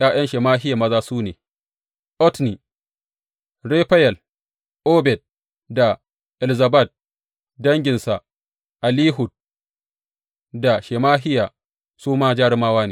’Ya’yan Shemahiya maza su ne, Otni, Rafayel, Obed da Elzabad; danginsa Elihu da Shemahiya su ma jarumawa ne.